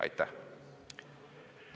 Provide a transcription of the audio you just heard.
Aitäh!